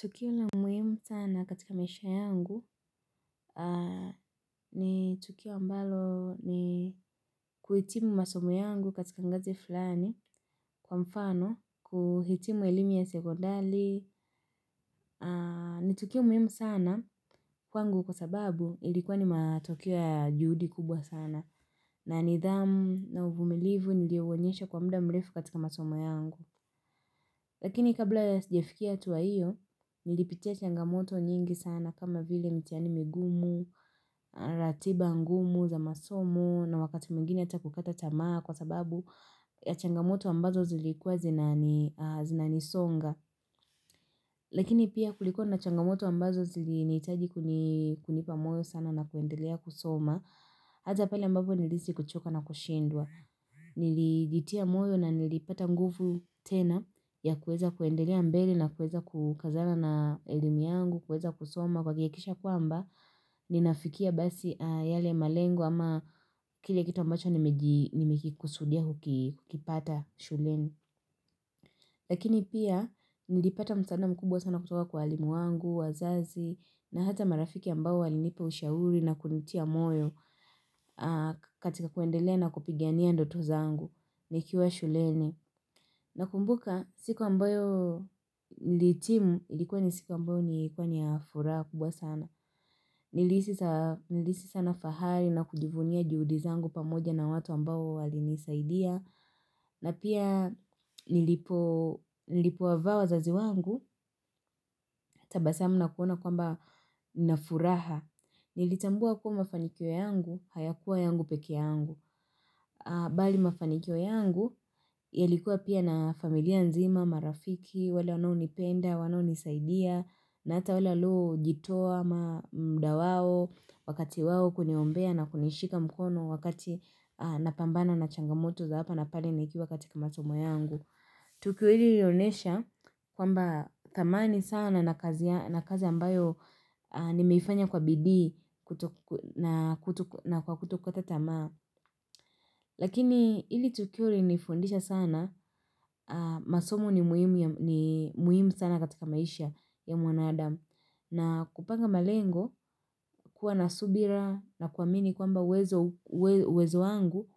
Tukio la muhimu sana katika maisha yangu ni tukio ambalo ni kuhitimu masomo yangu katika ngazi fulani kwa mfano, kuhitimu elimu ya sekondali. Ni tukio muhimu sana kwangu kwa sababu ilikuwa ni matokeo ya juhudi kubwa sana na nidhamu na uvumilivu nilio onyesha kwa muda mrefu katika masomo yangu. Lakini kabla ya sijafikia hatua hiyo, nilipitia changamoto nyingi sana kama vile mitihani migumu, ratiba ngumu, za masomo, na wakati mwingine ata kukata tamaa kwa sababu ya changamoto ambazo zilikuwa zinanisonga. Lakini pia kulikuwa na changamoto ambazo zilinihitaji kunipa moyo sana na kuendelea kusoma. Hasa pale ambapo nilihisi kuchoka na kushindwa niljitia moyo na nilipata nguvu tena ya kueza kuendelea mbele na kueza kukazana na elimu yangu kueza kusoma kwa kuhakikisha kwamba ninafikia basi yale malengo ama kile kitu ambacho nimekikusudia kukipata shuleni lakini pia nilipata msaada mkubwa sana kutoka kwa walimu wangu wazazi na hata marafiki ambao walinipa ushauri na kunitia moyo katika kuendelea na kupigania ndoto zangu nikiwa shuleni Nakumbuka siku ambayo nilihitimu ilikuwa ni siku ambayo ilikua ni ya furaha kubwa sana Nilisihi sana fahali na kujivunia juhudi zangu pamoja na watu ambao walinisaidia na pia nilipovaa vazi wangu tabasamu na kuona kwamba nina furaha Nilitambua kua mafanikio yangu hayakuwa yangu peke yangu bali mafanikio yangu yalikuwa pia na familia nzima marafiki, wale wanaonipenda wananisaidia na ata wale walio jitoa ama mda wao, wakati wao kuniombea na kunishika mkono wakati napambana na changamoto za hapa napale nikiwa katika masomo yangu tukio hili lilionesha kwamba thamani sana na kazi ambayo nimeifanya kwa bidii na kwa kuto kukata tamaa Lakini ili tukio lilinifundisha sana, masomo ni muhimu sana katika maisha ya mwanadamu. Na kupanga malengo, kuwa na subira na kuwamini kwamba uwezo wangu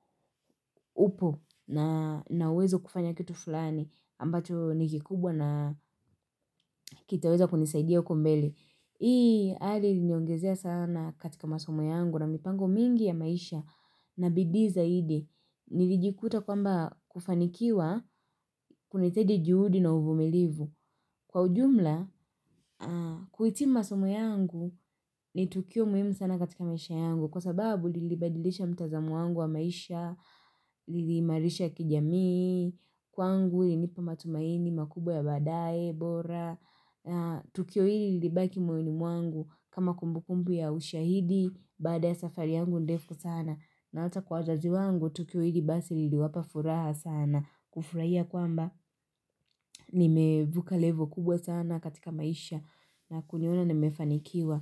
upo na wezo kufanya kitu fulani ambacho nikikubwa na kitaweza kunisaidia uko mbele. Hii ali niongezea sana katika masomo yangu na mipango mingi ya maisha na bidii zaidi. Nilijikuta kwamba kufanikiwa kunaitaji juhudi na uvumilivu Kwa ujumla, kuitimu masomo yangu ni tukio muhimu sana katika maisha yangu Kwa sababu lilibadilisha mtazamu wangu wa maisha, lili imarisha kijami Kwangu ilinipa matumaini, makubwa ya baadae, bora Tukio hili lilibaki moyoni wangu kama kumbukumbu ya ushahidi Bada ya safari yangu ndefu sana na hata kwa wazazi wangu tukio hili basi lili wapa furaha sana kufurahia kwamba nimevuka levo kubwa sana katika maisha na kuniona nimefanikiwa.